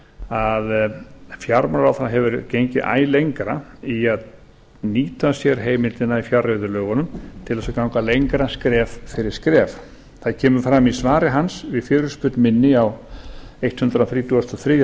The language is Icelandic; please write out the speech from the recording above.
að fjármálaráðherra hefur gengið æ lengra til að nýta sér heimildina í fjárreiðulögunum til að ganga lengra skref fyrir skref það kemur fram í svari hans við fyrirspurn minni á hundrað þrítugasta og þriðja